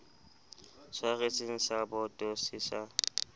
tshwaretseng sa boto se sa